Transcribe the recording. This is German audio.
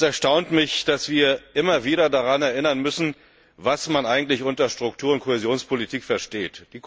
Es erstaunt mich, dass wir immer wieder daran erinnern müssen, was man eigentlich unter Struktur und Kohäsionspolitik versteht.